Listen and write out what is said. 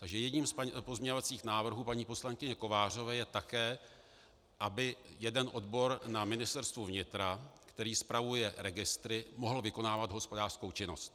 Takže jedním z pozměňovacích návrhů paní poslankyně Kovářové je také, aby jeden odbor na Ministerstvu vnitra, který spravuje registr, mohl vykonávat hospodářskou činnost.